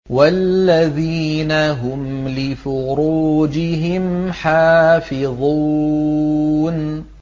وَالَّذِينَ هُمْ لِفُرُوجِهِمْ حَافِظُونَ